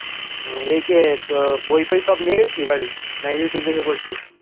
বইফই সব নিয়ে গিয়েছিলিস বাড়ি না youtube দেখে পড়ছিস